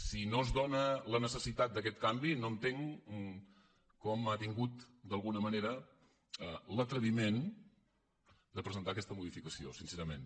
si no es dóna la necessitat d’aquest canvi no entenc com ha tingut d’alguna manera l’atreviment de presentar aquesta modificació sincerament